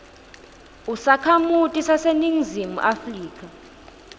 usakhamuti saseningizimu afrika